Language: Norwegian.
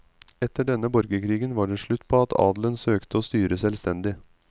Etter denne borgerkrigen var det slutt på at adelen søkte å styre selvstendig.